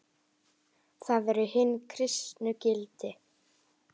Það eru hin kristnu gildi.